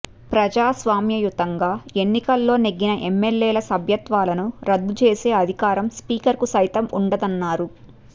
ప్రజాస్వామ్యయుతంగా ఎన్నికల్లో నెగ్గిన ఎమ్మెల్యేల సభ్యత్వాలను రద్దు చేసే అధికారం స్పీకర్కు సైతం ఉండదన్నారు